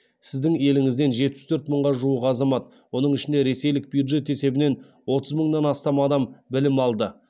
сіздің еліңізден жетпіс төрт мыңға жуық азамат оның ішінде ресейлік бюджет есебінен отыз мыңнан астам адам білім алды